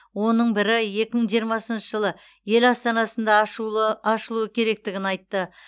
оның бірі екі мың жиымасыншы жылы ел астанасында ашулы ашылуы керектігін айтты